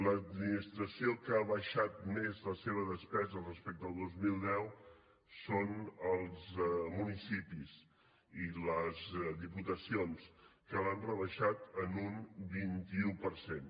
les administracions que ha abaixat més la seva despesa respecte al dos mil deu són els municipis i les diputacions que l’han rebaixat en un vint un per cent